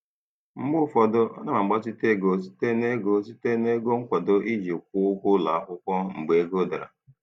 Mgbe ụfọdụ ana m agbazinye ego site na ego site na ego nkwado iji kwụọ ụgwọ ụlọ akwụkwọ mgbe ego dara.